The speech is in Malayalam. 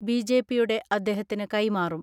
ബിജെപിയുടെ അദ്ദേഹത്തിന് കൈമാറും.